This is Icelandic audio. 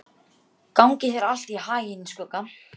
Gangi þér allt í haginn, Skugga.